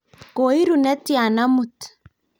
koiru netya amut?